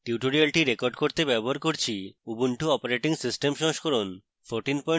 tutorial record করতে ব্যবহার করছি ubuntu operating system সংস্করণ 1404